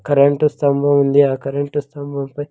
Current స్తంభం ఉంది ఆ కరెంట్ స్తంభం పై.